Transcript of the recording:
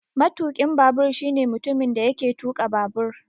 Matukin babur shine mutumin da yake tuka babur